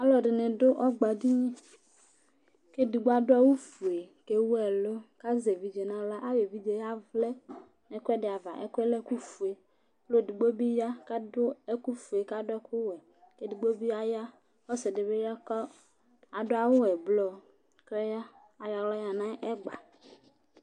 Alʋɛdɩnɩ dʋ ɔgbadini kʋ edigbo adʋ awʋfue kʋ ewu ɛlʋ kʋ azɛ nʋ aɣla Ayɔ evidze yɛ yavlɛ nʋ ɛkʋɛdɩ ava, ɛkʋ yɛ lɛ ɛkʋfue Ɔlʋ edigbo bɩ ya kʋ adʋ ɛkʋfue kʋ adʋ ɛkʋwɛ Edigbo bɩ aya, ɔsɩ dɩ ya kʋ adʋ awʋ ɛblɔ kʋ aya, ayɔ aɣla yǝ nʋ ɛgba